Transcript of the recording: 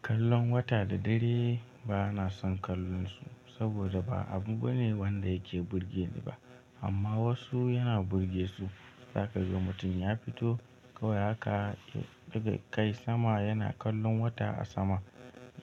Kallon wata da dare bana son kallon su saboda ba abu bane wanda yake burge ni ba amma wasu yana burge su. Za ka ga mutum ya fito kawai haka ya ɗaga kai sama yana kallon wata a sama.